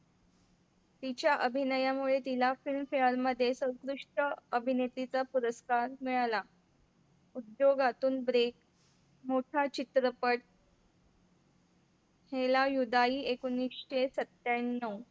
तिच्या अभिनयामुळे तिला Film Fair मध्ये सर्वोत्कृष्ट अभिनेत्रीचा पुरस्कार मिळाला. दोघातून break मोठा चित्रपट हेला युद्धाइ एकोनिशे सत्याण्णव